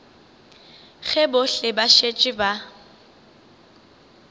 ge bohle ba šetše ba